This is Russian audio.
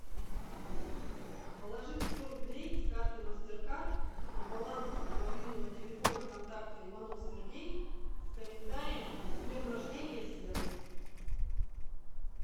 положить сто рублей с карты мастеркард на баланс мобильного телефона контакта иванов сергей с комментарием с днем рождения серый